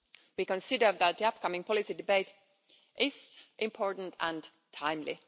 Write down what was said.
We consider that the upcoming policy debate is important and timely.